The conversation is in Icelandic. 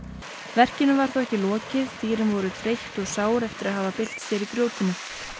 verkinu var þó ekki lokið dýrin voru þreytt og sár eftir að hafa bylt sér í grjótinu